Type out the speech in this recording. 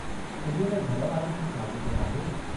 इन्हीअ में घर वारनि खां छा पुछिणो आहे?